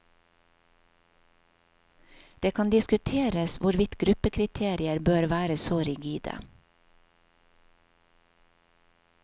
Det kan diskuteres hvorvidt gruppekriterier bør være så rigide.